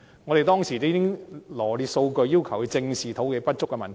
我們當時羅列數據，要求政府正視土地不足的問題。